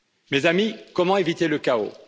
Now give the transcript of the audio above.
Mes amis, comment éviter le chaos?